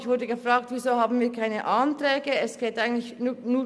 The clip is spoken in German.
Ich wurde gefragt, weshalb wir keine Anträge formulierten.